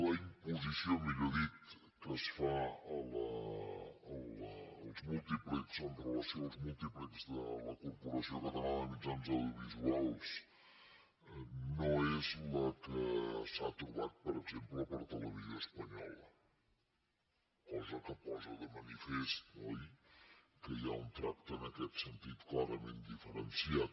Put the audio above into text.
la imposició millor dit que es fa dels múltiplexs amb relació als múltiplexs de la corporació catalana de mitjans audiovisuals no és la que s’ha trobat per exemple per a televisió espanyola cosa que posa de manifest oi que hi ha un tracte en aquest sentit clarament diferenciat